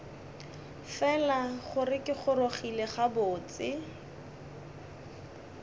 fela gore ke gorogile gabotse